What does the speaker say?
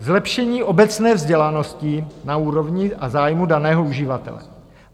Zlepšení obecné vzdělanosti na úrovni a zájmu daného uživatele.